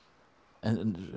en